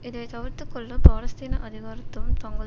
இதை தவிர்த்துக்கொள்ள பாலஸ்தீன அதிகாரத்துவம் தங்கள்